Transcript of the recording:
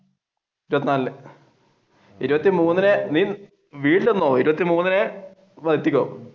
ഇരുപത്തിനാലിനു ഇരുപത്തിമൂന്നിന് ഇരുപത്തിമൂന്നിന് എത്തിക്കോ?